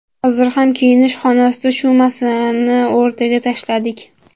Hozir ham kiyinish xonasida shu masalani o‘rtaga tashladik.